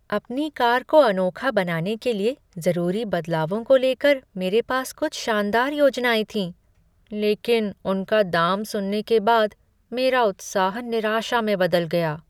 अपनी कार को अनोखा बनाने के लिए जरूरी बदलावों को लेकर मेरे पास कुछ शानदार योजनाएँ थीं, लेकिन उनका दाम सुनने के बाद मेरा उत्साह निराशा में बदल गया।